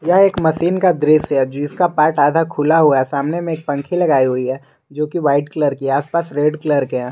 यह एक मशीन का दृश्य है जिसका पार्ट आधा खुला हुआ है सामने में एक पंखी लगाई हुई है जो की वाइट कलर की आस पास रेड कलर के हैं।